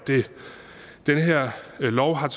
den her lov har